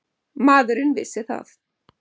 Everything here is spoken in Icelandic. Maðurinn vissi það.